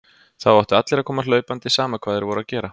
Þá áttu allir að koma hlaupandi, sama hvað þeir voru að gera.